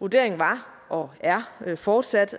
vurderingen var og er fortsat